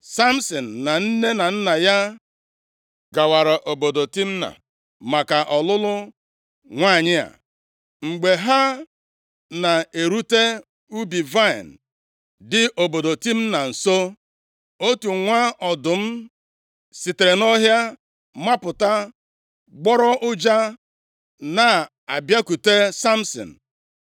Samsin na nne na nna ya gawara obodo Timna maka ọlụlụ nwanyị a. Mgbe ha na-erute ubi vaịnị dị obodo Timna nso, otu + 14:5 Nʼoge ahụ, ọtụtụ ọdụm bi na ndịda ala Palestia. nwa ọdụm sitere nʼọhịa mapụta, gbọrọ ụja na-abịakwute Samsin.